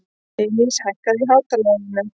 Elsí, hækkaðu í hátalaranum.